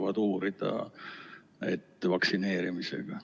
Nad kardavad või tahavad uurida.